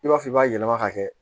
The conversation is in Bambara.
I b'a fɔ i b'a yɛlɛma ka kɛ